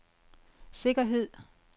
sikkerhed